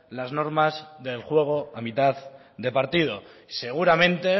las normas del juego a mitad de partido seguramente